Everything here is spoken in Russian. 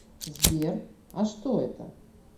сбер а что это